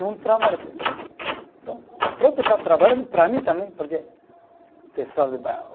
Não trabalha para. Então, o próprio está trabalhando para mim também, porque o pessoal de bairro.